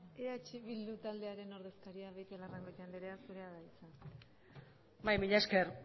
eh bildu taldearen ordezkaria beitialarrangoitia andrea zurea da hitza bai mila esker